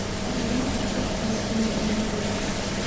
Macalinka mid kale ayu uuyere.